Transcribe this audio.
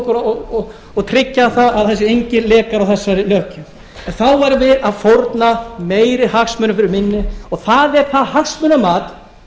okkur og tryggja að það séu engir lekar á þessari löggjöf en þá værum við að fórna meiri hagsmunum fyrir minni og það er það hagsmunamat